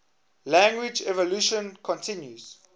language evolution continues